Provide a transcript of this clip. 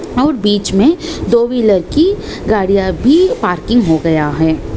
और बीच मे दो व्हीलर की गाड़ियाँ भी पार्किंग हो गया है ।